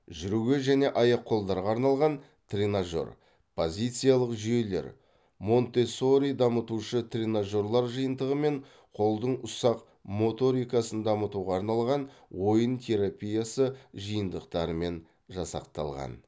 жүруге және аяқ қолдарға арналған тренажер позициялық жүйелер монтессори дамытушы тренажерлар жиынтығы мен қолдың ұсақ моторикасын дамытуға арналған ойын терапиясы жиынтықтарымен жасақталған